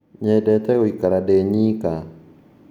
Nyendete gũikara ndĩ nyĩka